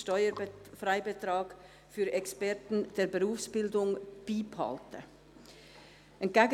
«Steuerfreibetrag für Experten der Berufsbildung beibehalten» überwiesen.